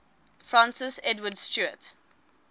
francis edward stuart